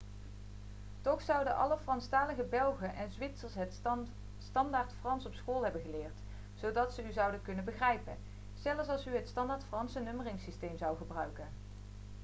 toch zouden alle franstalige belgen en zwitsers het standaardfrans op school hebben geleerd zodat ze u zouden kunnen begrijpen zelfs als u het standaardfranse nummeringssysteem zou gebruiken